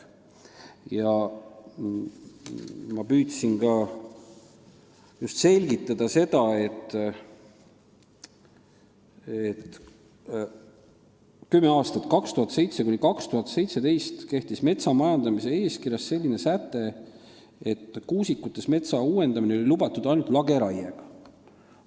Ma püüdsin selgitada, et kümme aastat, 2007–2017, kehtis metsa majandamise eeskirjas selline säte, et kuusikutes oli metsa uuendada lubatud ainult lageraiega.